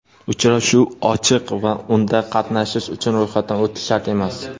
Uchrashuv ochiq va unda qatnashish uchun ro‘yxatdan o‘tish shart emas.